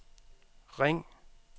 ring